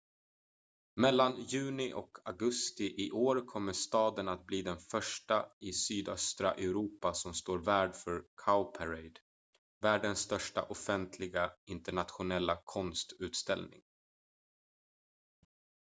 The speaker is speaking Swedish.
mellan juni och augusti i år kommer staden att bli den första i sydöstra europa som står värd för cowparade världens största offentliga internationella konstutställning